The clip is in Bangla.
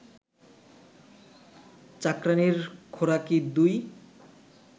চাকরাণীর খোরাকী ২